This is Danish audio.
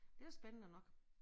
Det var spændende nok